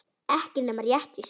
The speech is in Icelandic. Ekki nema rétt í svip.